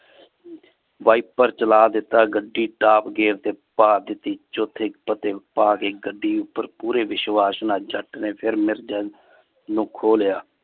wiper ਚਲਾ ਦਿੱਤਾ। ਗੱਡੀ ਟਾਪ gear ਤੇ ਪਾ ਦਿਤੀ। ਗੱਡੀ ਉਪਰ ਪੂਰੇ ਵਿਸ਼ਵਾਸ ਨਾਲ ਜੱਟ ਨੇ ਫਿਰ ਨੂੰ ਖੋਹ ਲਿਆ।